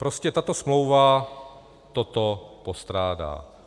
Prostě tato smlouva toto postrádá.